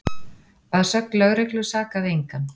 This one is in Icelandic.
Að sögn lögreglu sakaði engan